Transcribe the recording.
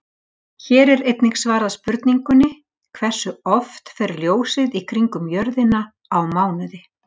Hér er einnig svarað spurningunni Hversu oft fer ljósið í kringum jörðina á mánuði?